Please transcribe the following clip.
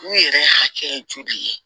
U yɛrɛ hakɛ ye joli ye